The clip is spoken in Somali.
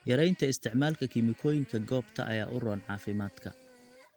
Yaraynta isticmaalka kiimikooyinka goobta ayaa u roon caafimaadka.